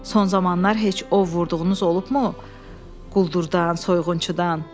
Son zamanlar heç o vurduğunuz olubmu Quldurdan, soyğunçudan?